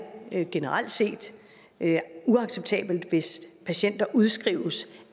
generelt set uacceptabelt hvis patienter udskrives